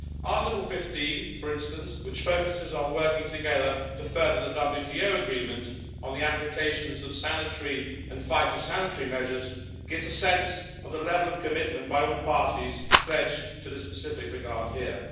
Article 15 for instance, which focuses on working together to further the WTO Agreement on the Application of Sanitary and Phytosanitary measures, gives a sense of the level of commitment by all parties pledged to the specific regard here.